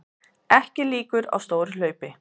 Ekki líkur á stóru hlaupi